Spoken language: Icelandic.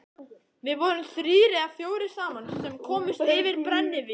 Við vorum þrír eða fjórir saman sem komumst yfir brennivín.